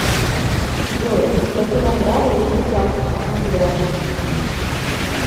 джой какие награды есть у кафка на пляже